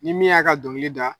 Ni min y'a ka dɔngili da